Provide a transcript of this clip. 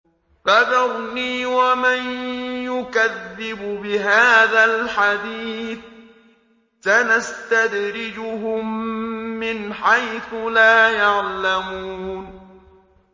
فَذَرْنِي وَمَن يُكَذِّبُ بِهَٰذَا الْحَدِيثِ ۖ سَنَسْتَدْرِجُهُم مِّنْ حَيْثُ لَا يَعْلَمُونَ